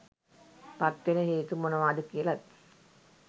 පත්වෙන හේතු මොනවාද කියලත්